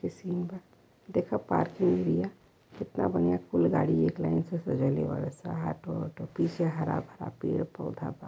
बा देखा पार्किंग बिया कितना बढ़िया कुल गाड़ी एक लाइन से सजाइले बाड़सन। ऑटो वाटो पीछे हरा भरा पेड़ पौधा बा।